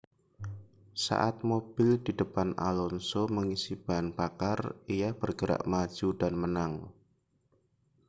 saat mobil di depan alonso mengisi bahan bakar ia bergerak maju dan menang